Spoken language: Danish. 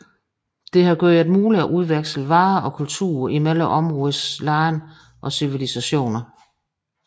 Det har gjort det muligt at udveksle varer og kultur mellem områdets lande og civilisationer